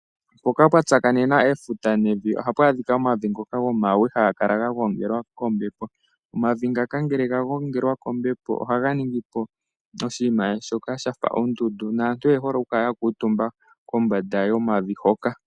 Mpoka pwa tsakanena efuta nevi ohapu adhika omavi ngoka gomawe Haga kala ga gongelwa kombepo. Omavi ngaka ngele ga gongelwa kombepo ohaga ningipo oshinima shoka shafa ondundu naantu oye hole okukala yakuutumba kombanda yomavi hoka.